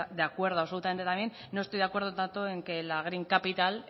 de acuerdo absolutamente también no estoy de acuerdo tanto en que la green capital